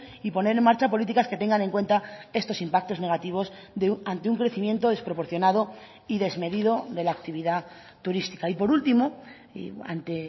y poner en marcha políticas que tengan en cuenta estos impactos negativos ante un crecimiento desproporcionado y desmedido de la actividad turística y por último y ante